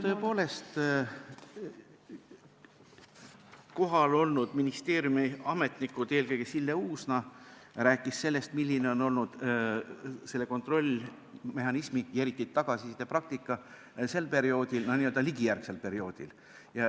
Tõepoolest, kohal olnud ministeeriumiametnikud rääkisid , milline on olnud kontrollmehhanismi ja eriti tagasiside praktika sel n-ö Ligi-järgsel perioodil.